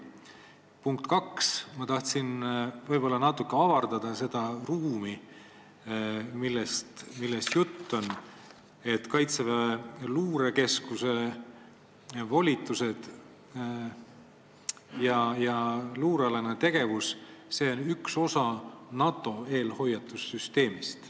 Punkt kaks: ma tahan natuke avardada seda ruumi, millest juttu on, ja annan teada, et Kaitseväe Luurekeskuse volitused ja luurealane tegevus on üks osa NATO eelhoiatussüsteemist.